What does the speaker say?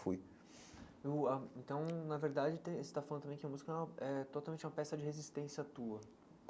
Fui eu ãh então na verdade você está falando também que a música é totalmente uma peça de resistência tua.